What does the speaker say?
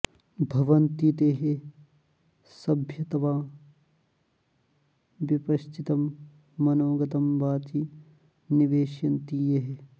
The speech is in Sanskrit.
भवन्ति ते सभ्यतमा विपश्चितं मनोगतं वाचि निवेशयन्ति ये